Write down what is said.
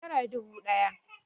Nera dubu ɗaya